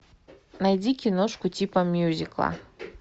найди киношку типа мюзикла